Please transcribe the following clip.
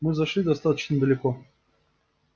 мы зашли достаточно далеко